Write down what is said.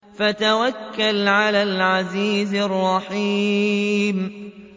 وَتَوَكَّلْ عَلَى الْعَزِيزِ الرَّحِيمِ